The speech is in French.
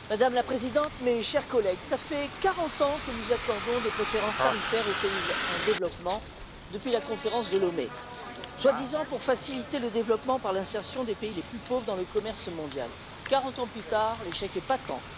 Madame la Présidente, mes chers collègues, cela fait 40 ans que nous accordons des préférences tarifaires aux pays en développement depuis la conférence de Lomé, soi disant pour faciliter le développement par l'insertion des pays les plus pauvres dans le commerce mondial. Quarante ans plus tard, l'échec est patent.